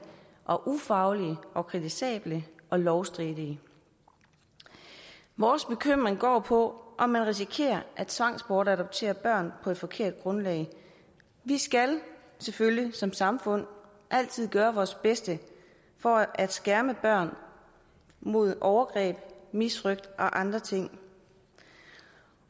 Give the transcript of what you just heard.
og ufaglige og kritisable og lovstridige vores bekymring går på om man risikerer at tvangsbortadoptere børn på et forkert grundlag vi skal selvfølgelig som samfund altid gøre vores bedste for at skærme børn mod overgreb misrøgt og andre ting